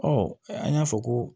an y'a fɔ ko